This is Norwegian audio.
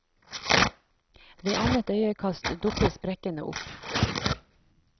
Ved annet øyekast dukker sprekkene opp.